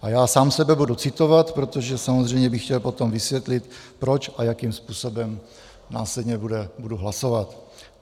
A já sám sebe budu citovat, protože samozřejmě bych chtěl potom vysvětlit, proč a jakým způsobem následně budu hlasovat.